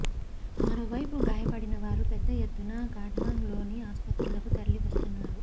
మరోవైపు గాయపడినవారు పెద్ద ఎత్తున ఖాట్మాండ్ లోని ఆస్పత్రులకు తరలి వస్తున్నారు